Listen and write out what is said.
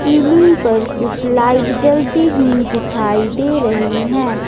Ceiling पर कुछ light जलती हुई दिखाई दे रही है।